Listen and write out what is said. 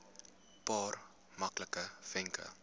paar maklike wenke